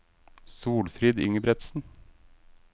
Solfrid Ingebretsen